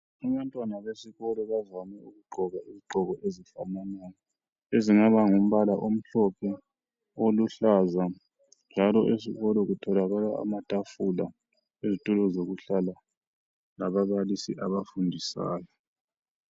Abantwana besikolo bavame ukugqoka izigqoko ezifananayo ezingaba ngumbala omhlophe, oluhlaza njalo esikolo kutholakala amatafula lezitulo zokuhlala lababalisi abafundisayo.